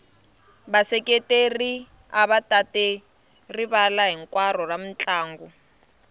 vaseketeri ava tate rivala hinkwaro ra mintlangu